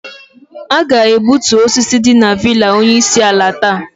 A ga-egbutu osisi dị na villa onye isi ala taa.